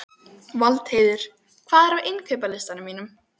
Valdheiður, hvað er á innkaupalistanum mínum?